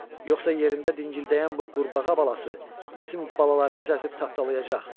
yoxsa yerində dingildəyən bu qurbağa balası bizim balalarımızı əzib tapdalayacaq.